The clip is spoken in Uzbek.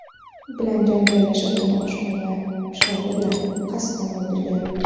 bilan janjallashib, uni oshxona pichog‘i bilan qasddan o‘ldirgan.